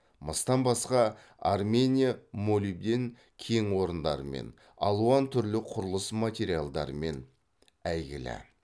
мыстан басқа армения молибден кең орындарымен алуан түрлі құрылыс материалдарымен әйгілі